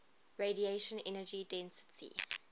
radiation energy density